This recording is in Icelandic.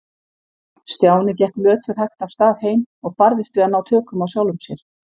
Stjáni gekk löturhægt af stað heim og barðist við að ná tökum á sjálfum sér.